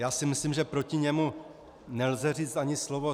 Já si myslím, že proti němu nelze říci ani slovo.